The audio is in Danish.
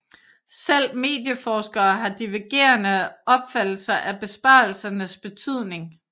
Selv medieforskere har divergerende opfattelser af besparelsernes betydning